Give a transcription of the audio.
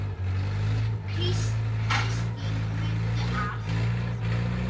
Kristín mundi allt.